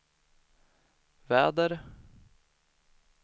väder